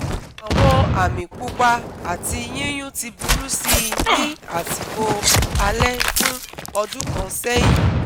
Àwọn àmì pupa ati yíyún ti burú si ní àsìkò alẹ́ fún ọdún kan sẹ́yìn